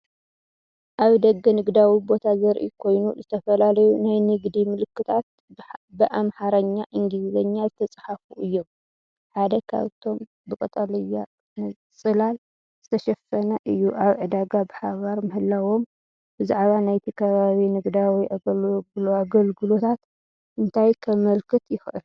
ኣብ ደገ ንግዳዊ ቦታ ዘርኢ ኮይኑ፡ ዝተፈላለዩ ናይ ንግዲ ምልክታት ብኣምሓርኛን እንግሊዝኛን ዝተጻሕፉ እዮም። ሓደ ካብኣቶም ብቀጠልያ ጽላል ዝተሸፈነ እዩ። ኣብ ዕዳጋ ብሓባር ምህላዎም ብዛዕባ ናይቲ ከባቢ ንግዳዊ ኣገልግሎታት እንታይ ከመልክት ይኽእል?